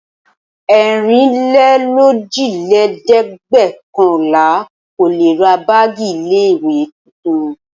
Ẹ̀rinlélójìlẹ́ẹ̀dẹ́gbẹ̀ọ̀kànlà kò le ra báágì ilé-ìwé tuntun.